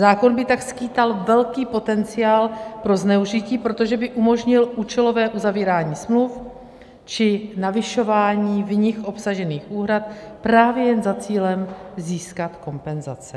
Zákon by tak skýtal velký potenciál pro zneužití, protože by umožnil účelové uzavírání smluv či navyšování v nich obsažených úhrad právě jen za cílem získat kompenzace.